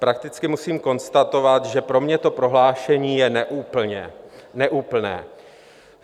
Prakticky musím konstatovat, že pro mě to prohlášení je neúplné.